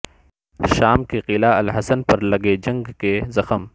شام کے قلعہ الحصن پر لگے جنگ کے زخم